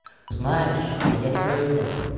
знаешь а я не пойду